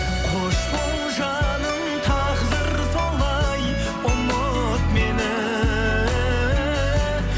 қош бол жаным тағдыр солай ұмыт мені